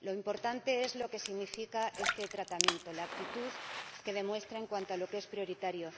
lo importante es lo que significa este tratamiento, la actitud que demuestra en cuanto a lo que es prioritario.